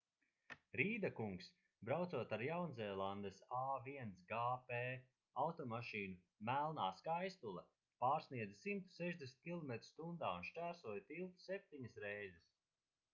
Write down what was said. rīda kungs braucot ar jaunzēlandes a1gp automašīnu melnā skaistule pārsniedza 160 km/h un šķērsoja tiltu septiņas reizes